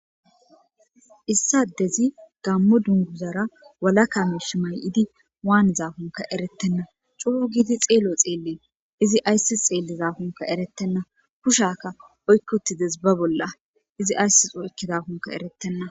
Issi addezi gaammo dungguzara walaka miishsha maay7idi waanidankkonkka ereththenna ;coo giidi xeelo xeelles;izi ayssi xeellidaakonkka ereththenna;kushiyaakka oykki uththi des ba bolla;izi ayssi oykkidankkonkka ereththenna.